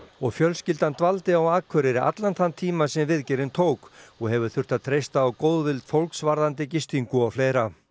og fjölskyldan dvaldi á Akureyri allan þann tíma sem viðgerðin tók og hefur þurft að treysta á góðvild fólks varðandi gistingu og fleira en